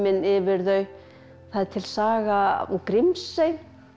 yfir þau það er til saga úr Grímsey